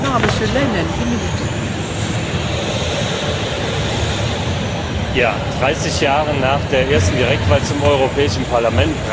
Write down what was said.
Frau Präsidentin! 30 Jahre nach der ersten Direktwahl zum Europäischen Parlament brauchen wir eine grundlegende Reform des Wahlsystems.